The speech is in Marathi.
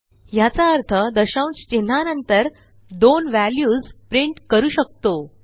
ह्याचा अर्थ दशांश चिन्हानंतर दोन व्हॅल्यूज प्रिंट करू शकतो